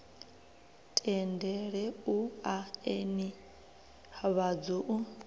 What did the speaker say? tendele u ea nivhadzo u